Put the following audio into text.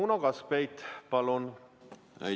Uno Kaskpeit, palun!